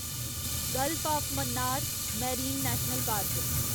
gulf of Mannar marine national park